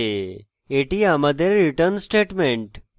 এটি আমাদের return statement